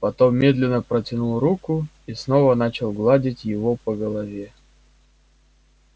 потом медленно протянул руку и снова начал гладить его по голове